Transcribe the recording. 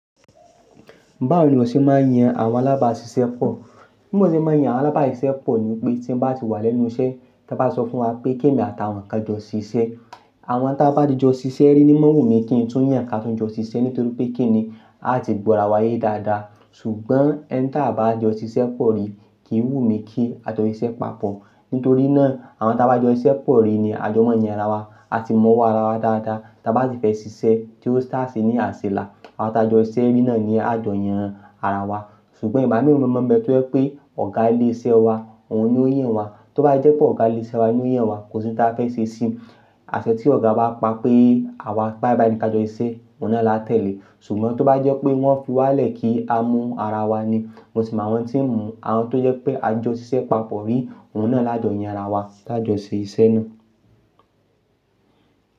Báwo ni o ṣe máa yan àwọn alábàáṣiṣẹ́ pọ̀? Bí mo ṣe máa yan àwọn alábàáṣiṣẹ́ pọ̀ ní pé tí ń bá ti wà lẹ́nu iṣẹ́, tí wọ́n bá sọ fún wa pé kí èmi àtàwọn kan jọ ṣíṣe. Àwọn tí a bá di jọ ṣiṣẹ́ rí ni mọ́ wùmí kí n tún yàn kí a tún jọ ṣiṣẹ́ nítorí pé kí ni a ti gbọ́ ara wa yé dáadáa. Ṣùgbọ́n ẹni tí a baá jọ ṣiṣẹ́ pọ̀ rí kìí wùmí kí a jọ ṣiṣẹ́ papọ̀. Nítorí náà àwọn ta bá jọ ṣiṣẹ́ pọ̀ rí ni àjọ mọ́ yàn ara wa. A ti mọ́ ara wa dáadáa tí a bá ti fẹ́ ṣiṣẹ́ tí ó ṣáá ṣe ní àṣẹ là. Àwọn tí a jọ ṣiṣẹ́ rí náà ni a jọ yàn ara wa. Ṣùgbọ́n igaba mi mo mọ̀ pé tó jẹ́ pé ọ̀gá ilé iṣẹ́ wa, òun ni ó yàn wa. Tó bá jẹ́ pé ọ̀gá ilé iṣẹ́ wa ni ó yàn wa, kò sí ohun tí a fẹ́ ṣe sí i. Aṣẹ tí ọ̀gá bá pa pé àwa bái bái ni ka jọ ṣiṣẹ́, òun náà la tẹ̀lé. Ṣùgbọ́n tó bá jẹ́ pé wọ́n fi wá lẹ̀ kí a mu ara wa ni, mo sì mọ̀ àwọn tí ń mú àwọn tó jẹ́ pé a jọ ṣiṣẹ́ papọ̀ rí, òun náà la jọ yàn ara wa ti a jọ ṣe iṣẹ́ náà.